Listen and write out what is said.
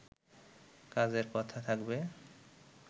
কাজের কথা থাকবে